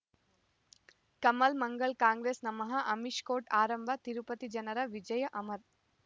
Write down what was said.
ಕಮಲ್ ಮಂಗಳ್ ಕಾಂಗ್ರೆಸ್ ನಮಃ ಅಮಿಷ್ ಕೋರ್ಟ್ ಆರಂಭ ತಿರುಪತಿ ಜನರ ವಿಜಯ ಅಮರ್